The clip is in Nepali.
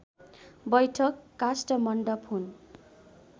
बैठक काष्ठमण्डप हुन्